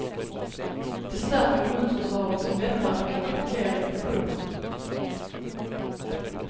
De stärker immunförsvaret som lättare kan attackera infektioner.